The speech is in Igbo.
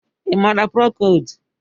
Ị maara prokold?